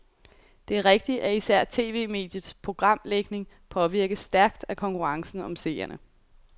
Det er rigtigt, at især tv-mediets programlægning påvirkes stærkt af konkurrencen om seerne.